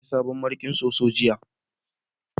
na saya sabon mariƙin soso jiya